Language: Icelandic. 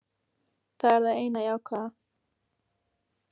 Það er það eina jákvæða.